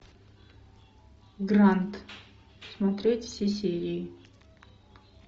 гранд смотреть все серии